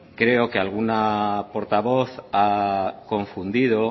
creo que alguna portavoz a confundido